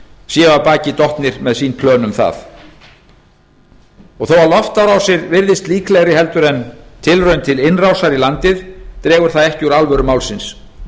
séu af baki dottnir með sín plön um það þó loftárásir virðist líklegri heldur en tilraun til innrásar í landið dregur það ekki úr alvöru málsins